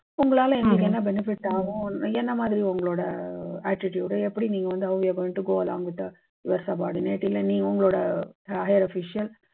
உங்களால எங்களுக்கு என்ன benefit ஆகும். என்ன மாதிரி உங்களோட attitude எப்படி நீங்க வந்து அவங்களுக்கு வந்து go along with your subordinate இல்ல நீங்க உங்களோட higher officials